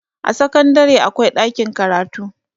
a sakandare akwai ɗakin karatu